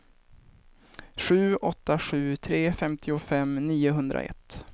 sju åtta sju tre femtiofem niohundraett